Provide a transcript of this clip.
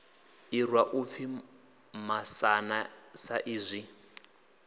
irwa u pfi masana saizwi